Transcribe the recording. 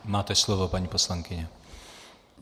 Máte slovo, paní poslankyně.